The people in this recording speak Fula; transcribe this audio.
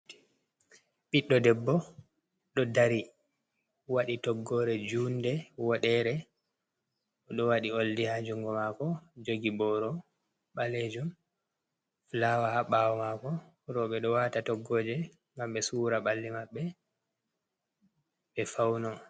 Ɓiɗɗo debbo ɗo dari waɗi toggore junde, woɗere o ɗo waɗi oldi ha jungo mako jogi boro ɓalejum, fulawa ha ɓawo mako roɓɓe ɗo wata toggoje ngam ɓe sura ɓalli maɓɓe ɓe fauno.